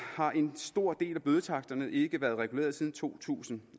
har en stor del af bødetaksterne ikke været reguleret siden to tusind